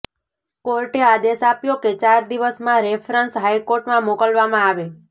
કોર્ટે આદેશ આપ્યો કે ચાર દિવસમાં રેફરન્સ હાઇકોર્ટમાં મોકલવામાં આવે